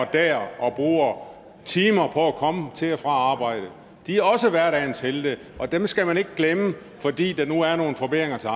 der og bruger timer på at komme til og fra arbejde de er også hverdagens helte og dem skal man ikke glemme fordi der nu er nogle forbedringer til